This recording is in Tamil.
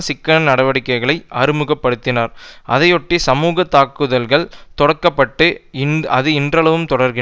சிக்கன நடவடிக்கைகளை அறிமுக படுத்தினார் அதையொட்டி சமூக தாக்குதல் தொடக்கப்பட்டு அது இன்றளவும் தொடர்கிறது